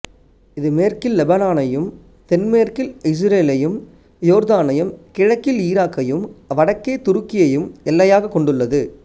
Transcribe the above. இது மேற்கில் லெபனானையும்தென்மேற்கில் இசுரேலையும் யோர்தானையும் கிழக்கில் ஈராக்கையும் வடக்கே துருக்கியையும் எல்லையாகக் கொண்டுள்ளது